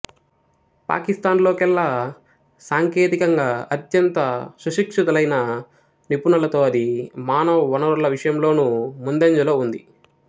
పాకిస్తాన్ లో కెల్లా సాంకేతికంగా అత్యంత సుశిక్షితులైన నిపుణులతో అది మానవవనరుల విషయంలోనూ ముందంజలో ఉంది